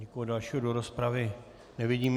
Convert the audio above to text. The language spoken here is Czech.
Nikoho dalšího do rozpravy nevidím.